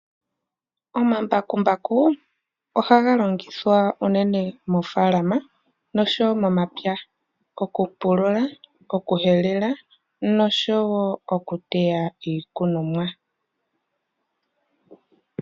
Omambakumbaku oha ga longithwa nawa unene moofaalama, no sho woo momapya, oku pulula, okuhelela nosho wo oku teya iikunomwa.